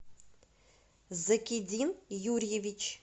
закидин юрьевич